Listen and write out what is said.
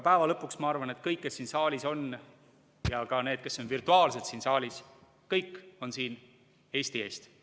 Aga lõpuks ma arvan, et kõik, kes siin saalis on, ja ka need, kes on virtuaalselt siin saalis, kõik on siin Eesti eest.